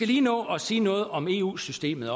lige nå at sige noget om eu systemet